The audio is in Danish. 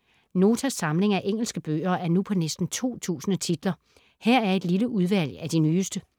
Notas samling af engelske bøger er nu på næsten 2000 titler. Her er et lille udvalg af de nyeste.